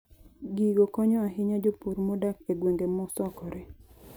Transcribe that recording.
Gigo konyo ahinya jopur modak e gwenge mosokore.